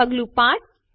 પગલું ૫